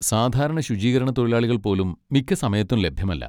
സാധാരണ ശുചീകരണത്തൊഴിലാളികൾ പോലും മിക്ക സമയത്തും ലഭ്യമല്ല.